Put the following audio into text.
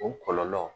O kɔlɔlɔ